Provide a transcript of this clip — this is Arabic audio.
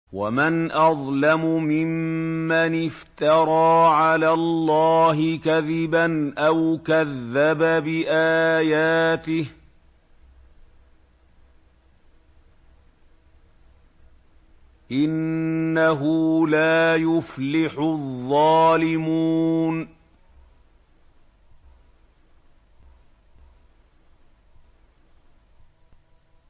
وَمَنْ أَظْلَمُ مِمَّنِ افْتَرَىٰ عَلَى اللَّهِ كَذِبًا أَوْ كَذَّبَ بِآيَاتِهِ ۗ إِنَّهُ لَا يُفْلِحُ الظَّالِمُونَ